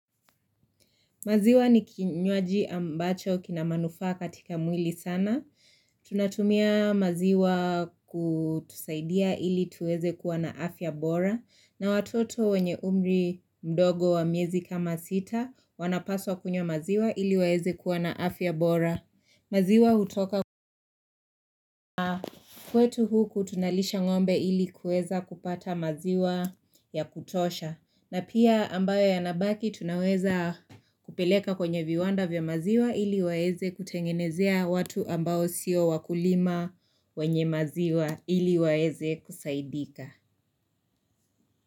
Maziwa ni kinywaji ambacho kina manufaa katika mwili sana. Tunatumia maziwa kutusaidia ili tuweze kuwa na afya bora. Na watoto wenye umri mdogo wa miezi kama sita wanapaswa kunywa maziwa ili waweze kuwa na afya bora. Maziwa hutoka, kwetu huku tunalisha ngombe ili kuweza kupata maziwa yakutosha. Na pia ambayo yanabaki tunaweza kupeleka kwenye viwanda vya maziwa ili waweze kutengenezea watu ambao sio wakulima wenye maziwa ili waweze kusaidika.